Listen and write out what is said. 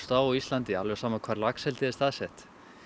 á Íslandi alveg sama hvar laxeldið er staðsett